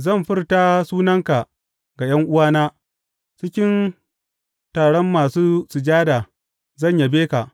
Zan furta sunanka ga ’yan’uwana; cikin taron masu sujada zan yabe ka.